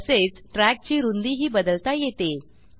तसेच ट्रॅक ची रूंदीही बदलता येते